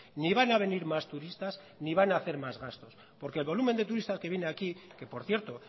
ni van a venir más turistas ni van a hacer más gasto porque el volumen de turistas que vienen aquí que por cierto